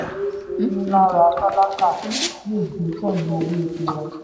ayé ṣe ń lára tálákà lè gbé pẹ̀lú owó epo wón